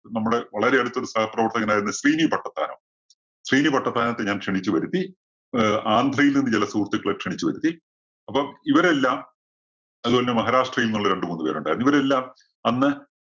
നമ്മുടെ വളരെ അടുത്ത ഒരു സഹപ്രവർത്തകനായിരുന്ന ശ്രീനി പട്ടത്താനം. ശ്രീനി പട്ടത്താനത്തെ ഞാൻ ക്ഷണിച്ചു വരുത്തി. ആഹ് ആന്ധ്രയിൽ നിന്നും ചില സുഹൃത്തുക്കളെ ക്ഷണിച്ചുവരുത്തി. അപ്പം ഇവരെല്ലാം അതുമല്ല മഹാരാഷ്ട്രയിൽ നിന്നുള്ള രണ്ടു മൂന്നു പേരുണ്ടായിരുന്നു. ഇവരെല്ലാം അന്ന്